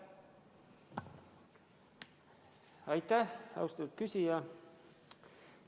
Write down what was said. Aitäh, austatud küsija!